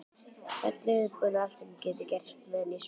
Öllu viðbúin því allt getur gerst meðan ég sef.